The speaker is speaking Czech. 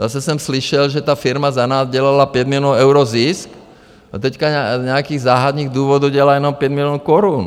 Zase jsem slyšel, že ta firma za nás dělala 5 milionů euro zisk a teď z nějakých záhadných důvodů dělá jenom 5 milionů korun.